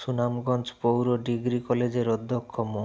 সুনামগঞ্জ পৌর ডিগ্রি কলেজের অধ্যক্ষ মো